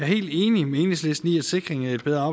helt enig med enhedslisten i at sikring af et bedre